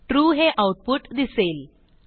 true हे output दिसेल